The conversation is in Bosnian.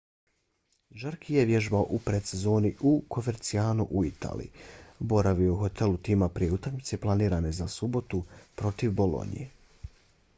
jarque je vježbao u predsezoni u covercianu u italiji. boravio je u hotelu tima prije utakmice planirane za subotu protiv bolonje